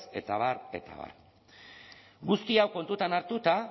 eta abar eta abar guzti hau kontutan hartuta